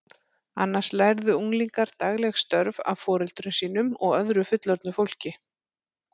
Annars lærðu unglingar dagleg störf af foreldrum sínum og öðru fullorðnu fólki.